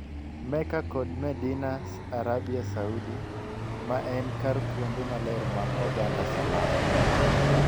Mecca kod Medina Arabia Saudi, maen kar kuonde maler mag oganda Salam,